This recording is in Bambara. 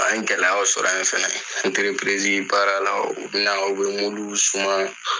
A n ye gɛlɛyaw sɔrɔ yen fana , baaralaw , u bɛna u bɛ mulu suman.